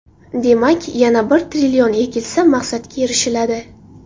Demak, yana bir trillion ekilsa, maqsadga erishiladi.